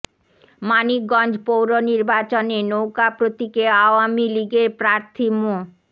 মানিকগঞ্জ পৌর নির্বাচনে নৌকা প্রতীকে আওয়ামী লীগের প্রার্থী মো